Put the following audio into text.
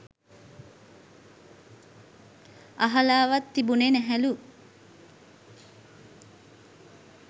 අහලාවත් තිබුණෙ නැහැලු.